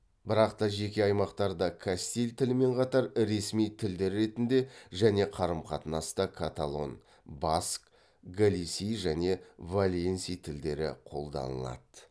бірақта жеке аймақтарда кастиль тілімен қатар ресми тілдер ретінде және қарым қатынаста каталон баск галисий және валенсий тілдері қолданылады